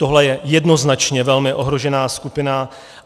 Tohle je jednoznačně velmi ohrožená skupina.